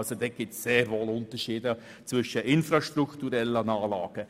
Es gibt sehr wohl Unterschiede zwischen infrastrukturellen Anlagen.